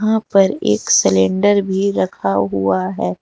यहां पर एक सिलेंडर भी रखा हुआ है।